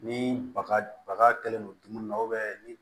Ni baga baga kɛlen don dumuni na ni